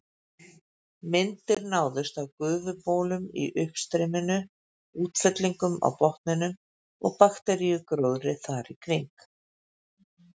Myndir náðust af gufubólum í uppstreyminu, útfellingum á botninum og bakteríugróðri þar í kring.